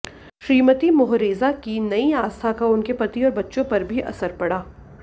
Shrimati Mohreza की नई आस्था का उनके पति और बच्चों पर भी असर पड़ा